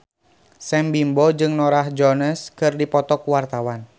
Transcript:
Sam Bimbo jeung Norah Jones keur dipoto ku wartawan